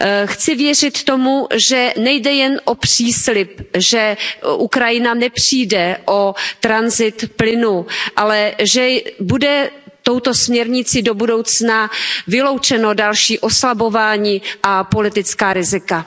Chci věřit tomu, že nejde jen o příslib, že Ukrajina nepřijde o tranzit plynu, ale že bude touto směrnicí do budoucna vyloučeno další oslabování a politická rizika.